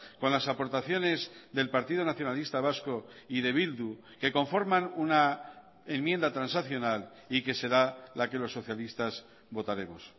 con lasaportaciones del partido nacionalista vasco y de bildu que conforman una enmienda transaccional y que será la que los socialistas votaremos